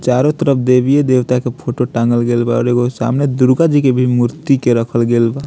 चारो तरफ देवीए देवता के फोटो टाँगल गेल बा और एगो सामने दुर्गा जी के भी मूर्ति के रखल गेल बा |